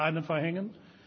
Ich werde eine verhängen.